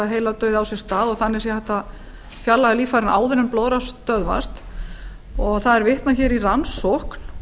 heiladauði á sér stað og þannig sé hægt að fjarlægja líffærin áður en blóðrás stöðvast og það er vitnað í rannsókn